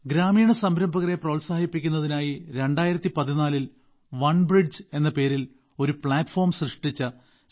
ഗ്രാമീണ സംരംഭകരെ പ്രോത്സാഹിപ്പിക്കുന്നതിനായി 2014ൽ വൺ ബ്രിഡ്ജ് എന്ന പേരിൽ ഒരു പ്ലാറ്റഫോം സൃഷ്ടിച്ച ശ്രീ